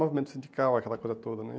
Movimento sindical, aquela coisa toda né.